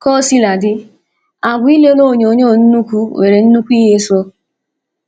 Kaosiladi, agwa ilele onyonyo nnukwu nwere nnukwu ihe so